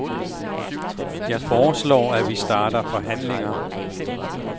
Jeg foreslår, at vi starter forhandlinger.